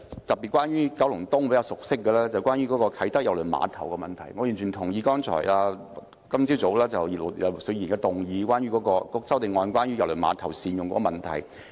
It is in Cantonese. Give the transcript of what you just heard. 第一，關於我比較熟悉的九龍東啟德郵輪碼頭，我完全同意葉劉淑儀議員今天早上提出關於善用郵輪碼頭的修正案。